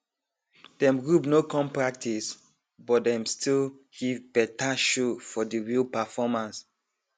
dem group no come practice but dem still give better show for de real performance